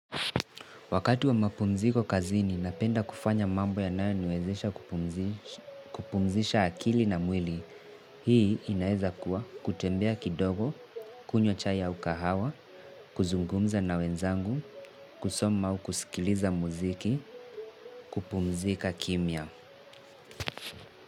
Wakati wa mapumziko kazini na penda kufanya mambo yananayoniwezesha kupumzisha akili na mwili, hii inaeza kuwa kutembea kidogo, kunywa chai au kahawa, kuzungumza na wenzangu, kusoma au kusikiliza muziki, kupumzika kimia.